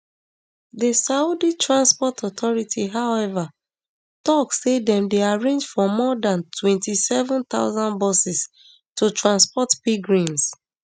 di saudi transport authority however tok say dem arrange for more dan twenty-seven thousand buses to transport pilgrims